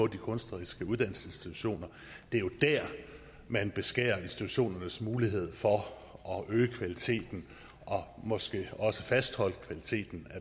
de kunstneriske uddannelsesinstitutioner det er jo dér man beskærer institutionernes mulighed for at øge kvaliteten og måske også fastholde kvaliteten